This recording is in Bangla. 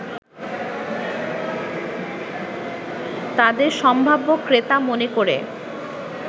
তাদের সম্ভাব্য ক্রেতা মনে করে